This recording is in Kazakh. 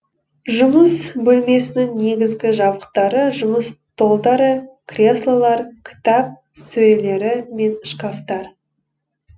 жұмыс бөлмесінің негізгі жабдықтары жұмыс столдары креслолар кітап сөрелері мен шкафтар